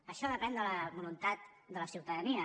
això depèn de la voluntat de la ciutadania